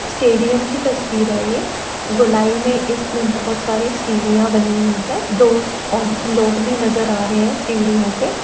Stadium की तस्वीर है यह गोलाई में इसमें बहुत सारी सीढ़ियां बनी हुई है। दो लोग भी नजर आ रहे हैं सीढ़िओ पर।